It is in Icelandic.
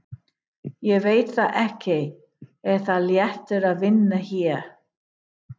Ég veit það ekki Er það léttir að vinna hér?